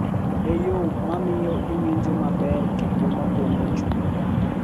E yo ma miyo iwinjo maber kendo ma pong’o chunyi.